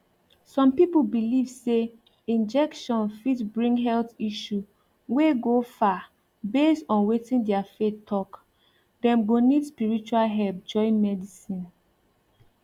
some people believe say injection fit bring health issue wey go far based on wetin their faith talk dem go need spiritual help join medicine